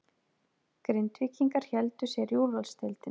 Grindvíkingar héldu sér í úrvalsdeildinni